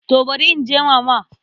To barin je Mama.